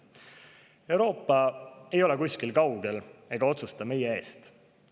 Euroopa ei ole kuskil kaugel ega otsusta meie eest.